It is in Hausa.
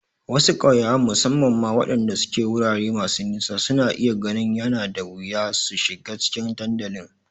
Wasu ƙauyawan, musamman ma waɗanda suke wurare masu nisa, suna iya ganin yana da wuya su shiga cikin dandalin.